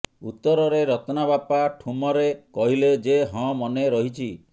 ଉତ୍ତରରେ ରତ୍ନା ବାପା ଠୁମରେ କହିଲେ ଯେ ହଁ ମନେ ରହିଛି